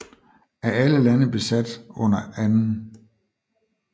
Af alle lande besat under 2